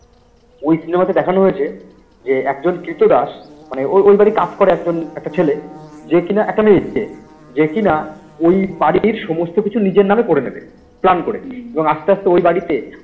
ওই cinema তে দেখানো হয়েছে যে একজন কৃত দাস মানে ওই ওই বাড়ি কাজ করে একজন একটা ছেলে যে কি না একটা মেয়ে এসছে যে কিনা ওই বাড়িটির সমস্ত কিছু নিজের নামে করে নেবে plan করে এবং আস্তে আস্তে ওই বাড়িতে